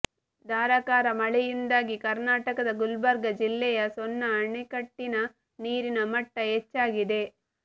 ಧಾರಾಕಾರ ಮಳೆಯಿಂದಾಗಿ ಕರ್ನಾಟಕದ ಗುಲ್ಬರ್ಗ ಜಿಲ್ಲೆಯ ಸೊನ್ನ ಅಣೆಕಟ್ಟಿನ ನೀರಿನ ಮಟ್ಟ ಹೆಚ್ಚಾಗಿದೆ